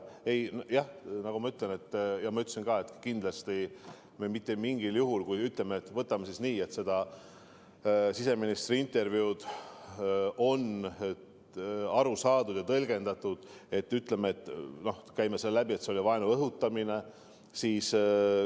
Nagu ma ütlesin, käime selle läbi ja võtame siis nii, et seda siseministri intervjuud on tõlgendatud nii ja sellest on aru saadud nii, et see oli vaenu õhutamine.